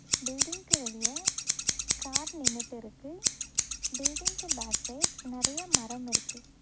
பில்டிங்க்கு வெளிய கார் நின்னுட்டிருக்கு பில்டிங்க்கு பேக் சைடு நெறைய மரமிருக்கு.